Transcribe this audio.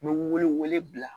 N bɛ wele wele bila